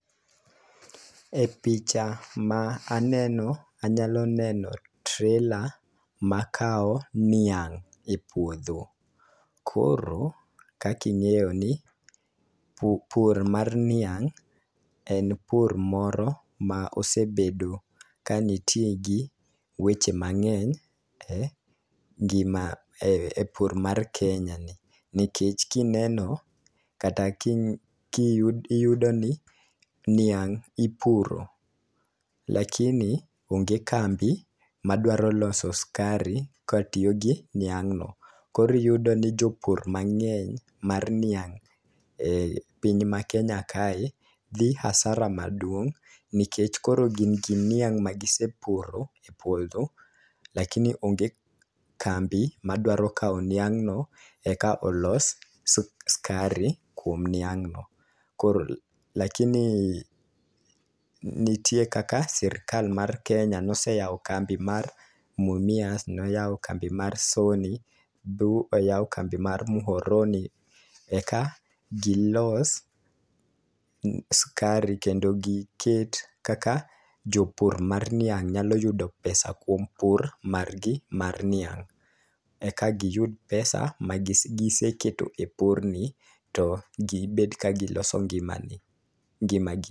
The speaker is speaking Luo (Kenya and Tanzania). E picha ma aneno anyalo neno trela makawo niang' e puodho. Koro kaki ng'eyo ni pu pur mar niang' en pur moro ma osebedo ka nitie gi weche mang'eny e ngima e pur mar kenya nikech, kineno kata ki kiyudo ni niang' ipuro lakini onge kambi madwaro loso skari katiyo gi niang' no koro iyudo ni jopur mangeny mar niang' e piny ma kenya ka dhi asara maduong' nikech, koro gin gi niang' ma gisepuro e puodho lakini onge kambi madwaro kawo niang' no eka olos skari kuom niang' no.Koro lakini nitie kaka sirikal mar kenya noseyawo kambi mar mumias noyawo kambi mar soni boyawo kambi mar muhoroni eka gilos skari kendo giket kaka jopur mar niang' nyalo yudo pesa kuom pur mar gi mar niang'. Eka giyud pesa ma gise kete e pur ni to gibet ka giloso ngima ni ngima gi.